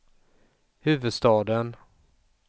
huvudstaden